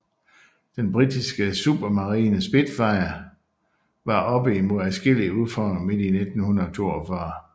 Den Britiske Supermarine Spitfire var oppe imod adskillige udfordringer midt i 1942